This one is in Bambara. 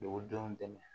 Dugudenw dɛmɛ